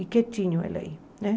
E quietinho ele aí. né